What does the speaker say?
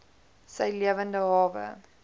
sy lewende hawe